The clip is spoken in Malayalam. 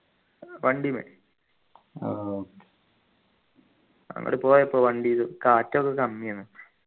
വണ്ടീമ്മെ അങ്ങോട്ട് പോയപ്പോ വണ്ടില് കാറ്റൊക്കെ കമ്മിയാണ്